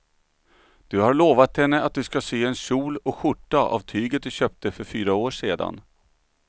Du har lovat henne att du ska sy en kjol och skjorta av tyget du köpte för fyra år sedan.